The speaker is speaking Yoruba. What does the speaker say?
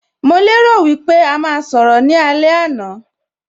Mo lè rò wípé a máa sọ̀rọ̀ ní alẹ́ àná